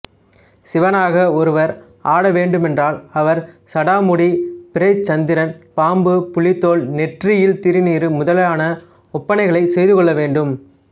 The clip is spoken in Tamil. சிவனாக ஒருவர் ஆட வேண்டுமென்றால் அவர் சடாமுடி பிறைச்சந்திரன் பாம்பு புலித்தோல் நெற்றியில் திருநீறு முதலான ஒப்பனைகளைச் செய்துகொள்ள வேண்டும்